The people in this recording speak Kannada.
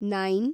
ನೈನ್